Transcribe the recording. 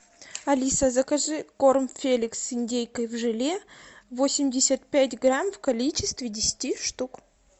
алиса закажи корм феликс с индейкой в желе восемьдесят пять грамм в количестве десяти штук